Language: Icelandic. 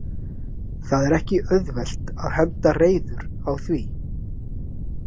Það er ekki auðvelt að henda reiður á því?